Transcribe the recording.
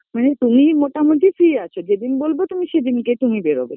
মানে তুমি মোটামুটি Free আছো যেদিন বলবো তুমি সেদিন কে তুমি বেরোবে